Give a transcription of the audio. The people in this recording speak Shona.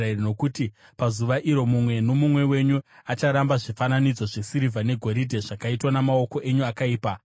Nokuti pazuva iro mumwe nomumwe wenyu acharamba zvifananidzo zvesirivha negoridhe zvakaitwa namaoko enyu akaipa.